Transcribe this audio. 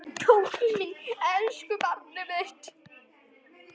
Tóti minn, elsku barnið mitt.